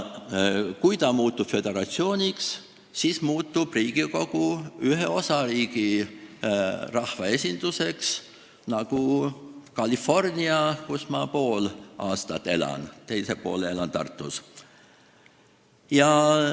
Kui ta muutub föderatsiooniks, siis muutub Riigikogu ühe osariigi rahvaesinduseks nagu California, kus ma poole aastast elan, teise poole elan Tartus.